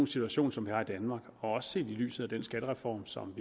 situation som vi har i danmark og også set i lyset af den skattereform som